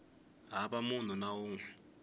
hava munhu na un we